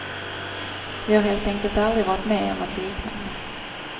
Vi har helt enkelt aldrig varit med om något liknande.